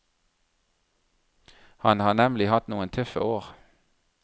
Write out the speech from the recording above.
Han har nemlig hatt noen tøffe år.